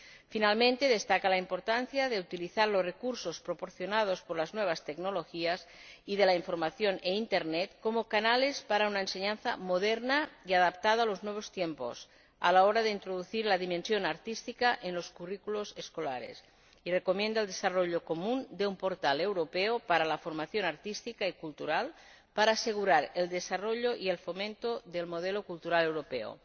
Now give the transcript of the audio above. Finalmente, destaca la importancia de utilizar los recursos proporcionados por las nuevas tecnologías y de la información e Internet como canales para una enseñanza moderna y adaptada a los nuevos tiempos, a la hora de introducir la dimensión artística en los currículos escolares, y recomienda el desarrollo común de un portal europeo para la formación artística y cultural, para asegurar el desarrollo y el fomento del modelo cultural europeo.